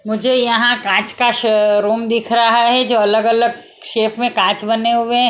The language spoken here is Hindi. मुझे यहां कांच का श रूम दिख रहा है जो अलग-अलग शेप में कांच बने हुए हैं।